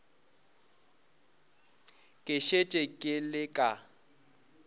ke šetše ke le ka